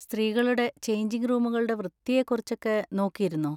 സ്ത്രീകളുടെ ചെയ്ഞ്ചിങ് റൂമുകളുടെ വൃത്തിയെ കുറിച്ചൊക്കെ നോക്കിയിരുന്നോ?